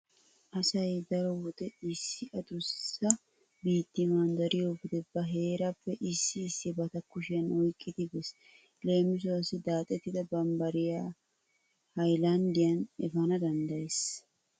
Asay daro wode issi adussa biitti manddariyo wode ba heerappe issi issibata kushiyan oyqqidi bees. Leemisuwau daaxettida barbbariya haylanddiyan efana danddayees.